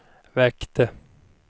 väckte